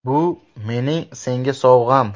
Bu mening senga sovg‘am.